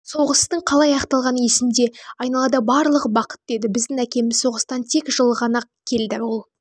соғыстың қалай аяқталғаны есімде айналада барлығы бақытты еді біздің әкеміз соғыстан тек жылы ғанеа келді ол